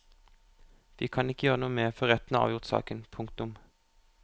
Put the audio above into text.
Vi kan ikke gjøre noe mer før retten har avgjort saken. punktum